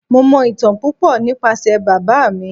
Mo mọ ìtàn púpò nípasẹ̀ bàbá mi.